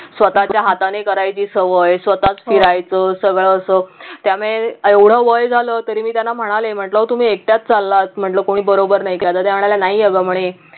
स्वतःच्या हाताने करायची सवय स्वतःच फिरायचं सगळं असं त्यामुळे एवढं वय झाल तरी मी त्याना म्हणाले म्हटलं तुम्ही एकट्याच चाललात म्हटलं कोणी बरोबर नाही का तर त्या म्हणाल्या नाही अग म्हणे